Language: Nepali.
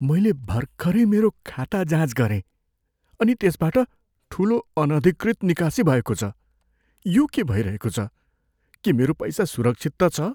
मैले भर्खरै मेरो खाता जाँच गरेँ अनि त्यसबाट ठुलो, अनधिकृत निकासी भएको छ। यो के भइरहेको छ? के मेरो पैसा सुरक्षित त छ?